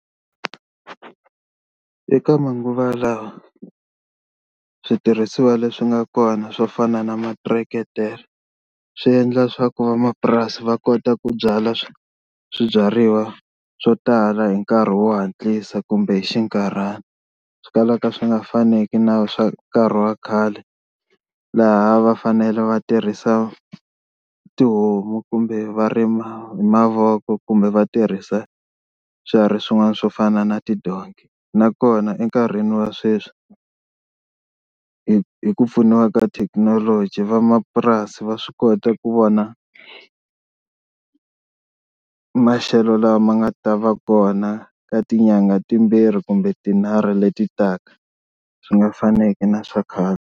Eka manguva lawa switirhisiwa leswi nga kona swo fana na materetere swi endla swa ku vamapurasi va kota ku byala swibyariwa swo tala hi nkarhi wo hatlisa kumbe hi xinkarhana swi kalaka swi nga faneki na swa nkarhi wa khale laha va fanele va tirhisa tihomu kumbe va rima hi mavoko kumbe va tirhisa swiharhi swin'wana swo fana na tidonki, nakona enkarhini wa sweswi hi hi ku pfuniwa ka thekinoloji vamapurasi va swi kota ku vona maxelo lama nga ta va kona ka tinyangha timbirhi kumbe tinharhu leti taka swi nga faneki na swa khale.